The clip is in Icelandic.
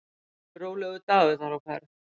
Óvenju rólegur dagur þar á ferð.